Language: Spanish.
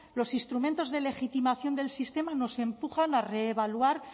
los instrumentos de legitimación del sistema nos empujan a evaluar